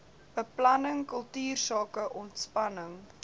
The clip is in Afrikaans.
beplanning kultuursake ontspanning